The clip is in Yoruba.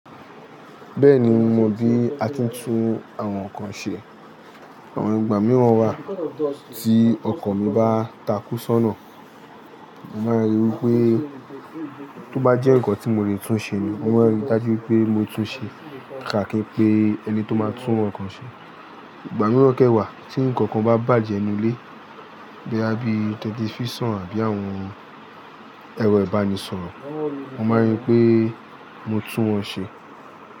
Bẹ́ẹ̀ni mo mọ̀ bí a ti ń tún àwọn nǹkan ṣe. Àwọn ìgbà mìíràn wà tí ọkọ̀ mi bá takú sónà, màá ríi wí pé tó bá jẹ́ nǹkan tí mo le tún ṣe ni, mo máa rí i dájú pé mo tún un ṣe kàkà pé ẹni tó máa tún ọkọ̀ ṣe. Ìgbà mìíràn kẹ́wàá tí nǹkan kan bá bàjẹ́ nínú ilé bíi ẹbí tẹlifíṣàn àbí àwọn ẹrọ ìbánisọ̀rọ̀, mo máa rí i pé mo tún wọn ṣe.